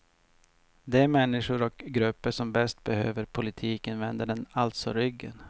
De människor och grupper som bäst behöver politiken vänder den alltså ryggen.